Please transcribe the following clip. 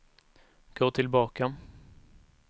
gå tillbaka